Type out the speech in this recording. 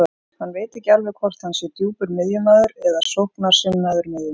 Hann veit ekki alveg hvort hann sé djúpur miðjumaður eða sóknarsinnaður miðjumaður.